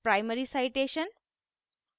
* primary citation primary citation